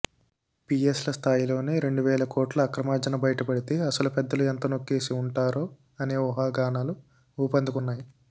పీఎస్ల స్థాయిలోనే రెండువేల కోట్ల అక్రమార్జన బయటపడితే అసలు పెద్దలు ఎంత నొక్కేసి ఉంటారో అనే ఊహాగానాలు ఊపందుకున్నాయి